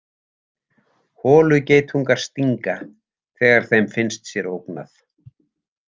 Holugeitungar stinga þegar þeim finnst sér ógnað.